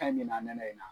in na